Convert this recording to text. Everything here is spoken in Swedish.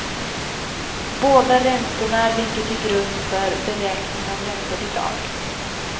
Båda räntorna ligger till grund för beräkning av räntebidrag.